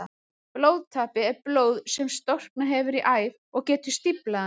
Blóðtappi er blóð sem storknað hefur í æð og getur stíflað hana.